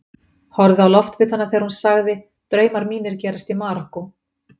Horfði á loftbitana þegar hún sagði: Draumar mínir gerast í Marokkó.